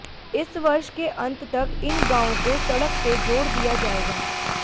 इस वर्ष के अंत तक इन गांव को सड़क से जोड़ दिया जाएगा